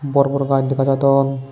bor bor gaaj dega jadon.